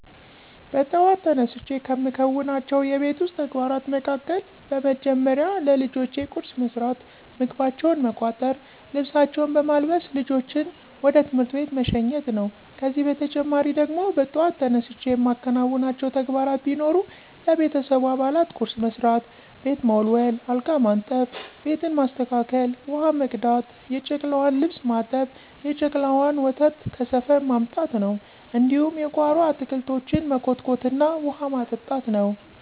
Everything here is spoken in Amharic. በጥዋት ተነስቸ ከምከውናቸው የቤት ዉስጥ ተግባራት መካከል፦ በመደመሪያ ለልጆቸ ቁርስ መስራት፣ ምግባቸውን መቋጠር፣ ልብሳቸውን በማልበስ ልጆችን ወደ ትምህርት ቤት መሸኘት ነው። ከዚህ በተጨማሪ ደግሞ በጧት ተነስቸ የማከናውናቸው ተግባራት ቢኖር ለቤተሰቡ አባላት ቁርስ መስራት፣ ቤት መወልወል፣ አልጋ ማንጠፋ፣ ቤትን ማስተካከል፣ ውሀ መቅዳት፣ የጨቅላዋን ልብስ ማጠብ፣ የጨቅላዋን ወተት ከሰፈር ማምጣት ነው፣ እንዲሁም የጓሮ አታክልቶችን መኮትኮትና ውሀ ማጠጣት ነው።